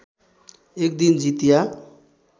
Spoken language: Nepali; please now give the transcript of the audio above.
एक दिन जितिया